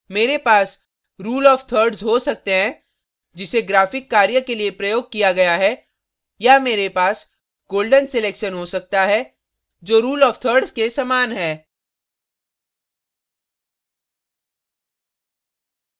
मेरे पास rule of thirds rule of thirds हो सकते हैं जिसे graphic कार्य के लिए प्रयोग किया गया है या मेरे पास golden sections हो सकता है जो rule of thirds rule of thirds के समान है